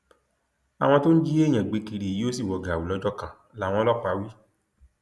àwọn tó ń jí èèyàn gbé kiri yìí yóò sì wọ gàù lọjọ kan làwọn ọlọpàá wí